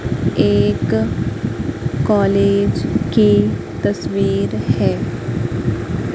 एक कॉलेज की तस्वीर है।